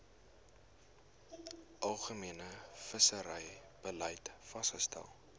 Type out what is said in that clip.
algemene visserybeleid vasgestel